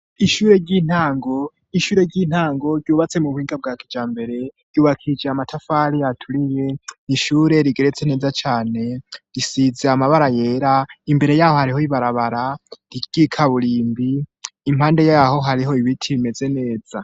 Ishure ntg ishure ry'intango ryubatse mu buhinga bwa kija mbere yubakije amatafari aturiye nishure rigeretse neza cyane risize amabara yera imbere yaho hariho ibarabara riyika burimbi impande yaho hariho ibiti bimeze neza.